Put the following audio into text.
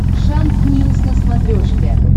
шант ньюс на смотрешке